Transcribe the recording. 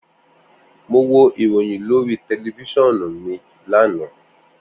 Mo wo iroyin lori tẹlifisiọnu lana.